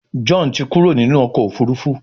John tí Kúrò nínú ọkọ̀ òfurufú.